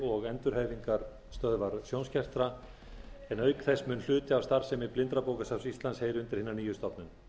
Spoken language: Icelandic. og endurhæfingarstöðvar sjónskertra en auk þess mun hluti af starfsemi blindrabókasafns íslands heyra undir hina nýju stofnun